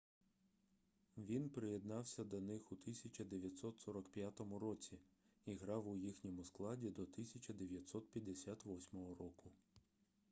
він приєднався до них у 1945 році і грав у їхньому складі до 1958 року